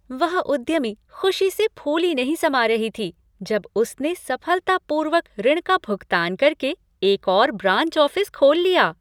वह उद्यमी ख़ुशी से फूली नहीं समा रही थी जब उसने सफलतापूर्वक ऋण का भुगतान करके एक और ब्रांच ऑफिस खोल लिया।